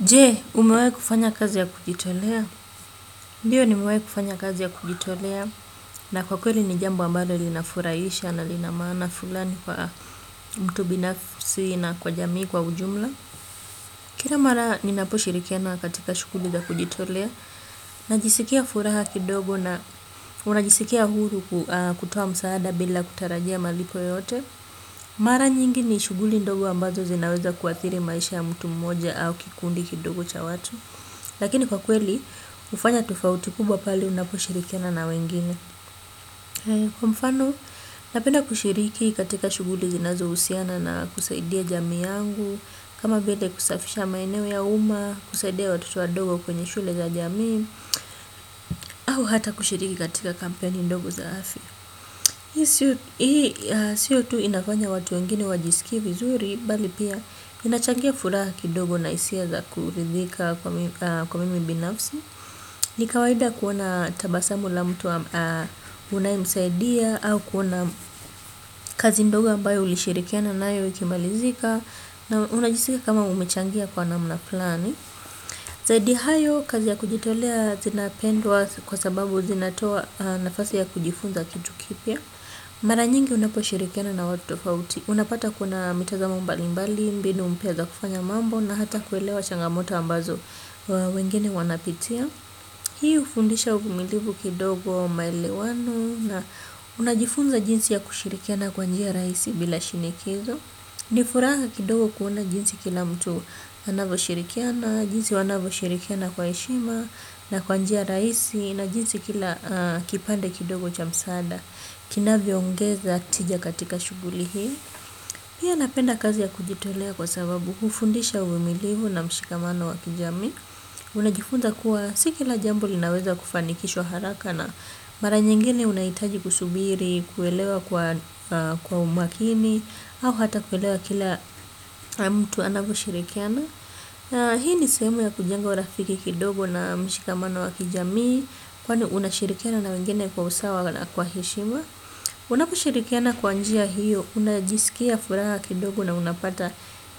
Je, umewai kufanya kazi ya kujitolea? Ndio nimewai kufanya kazi ya kujitolea na kwa kweli ni jambo ambalo linafurahisha na linamaana fulani kwa mtu binafisi na kwa jamii kwa ujumla. Kila mara ni naposhirikiana katika shughuli za kujitolea. Najisikia furaha kidogo na unajisikia huru kutoa msaada bila kutarajia malipo yoyote. Mara nyingi ni shughuli ndogo ambazo zinaweza kuathiri maisha ya mtu mmoja au kikundi kidogo cha watu. Lakini kwa kweli, hufanya tofauti kubwa pale unaposhirikiana na wengine. Kwa mfano, napenda kushiriki katika shughuli zinazohusiana na kusaidia jamii yangu. Kama vile kusafisha maeneo ya uma, kusaidia watoto wadogo kwenye shule za jamii. Au hata kushiriki katika kampeni dogo za afya. Hii sio tu inafanya watu wengine wajisikie vizuri, bali pia inachangia furaha kidogo na hisia za kuridhika kwa mimi binafsi. Nikawaida kuona tabasamu la mtu unayemsaidia au kuona kazi ndogo ambayo ulishirikiana nayo ikimalizika na unajisika kama umechangia kwa namna fulani. Zaidi ya hayo kazi ya kujitolea zinapendwa kwa sababu zinatoa nafasi ya kujifunza kitu kipya. Mara nyingi unaposhirikiana na watu tofauti. Unapata kuna mitazamo mbalimbali, mbinu mpya za kufanya mambo na hata kuelewa changamoto ambazo wengine wanapitia. Hii hufundisha uvumilivu kidogo maelewano na unajifunza jinsi ya kushirikiana kwa njia rahisi bila shinikizo. Nifuraha kidogo kuona jinsi kila mtu anavyoshirikiana, jinsi wanavyoshirikiana kwa heshima na kwa njia rahisi na jinsi kila kipande kidogo cha msaada. Kinavyo ongeza tija katika shughuli hii. Pia napenda kazi ya kujitolea kwa sababu hufundisha uvumilivu na mshikamano wa kijamii. Unajifunza kuwa si kila jambo linaweza kufanikishwa haraka na mara nyingine unahitaji kusubiri, kuelewa kwa umakini. Au hata kuelewa kila mtu anavyo shirikiana. Hii ni sehemu ya kujenga urafiki kidogo na mshikamano wa kijamii. Kwani unashirikiana na wengine kwa usawa na kwa hishima. Unaposhirikiana kwa njia hiyo, unajisikia furaha kidogo na unapata